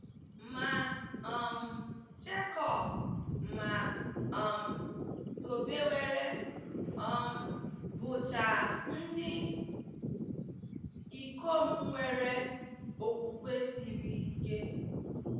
Ma um Jekọb ma um Tobewere um bụcha ndị ikom nwere okwukwe siri ike.